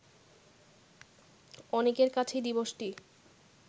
অনেকের কাছেই দিবসটি